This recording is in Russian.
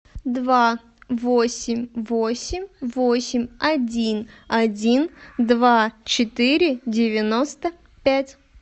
два восемь восемь восемь один один два четыре девяносто пять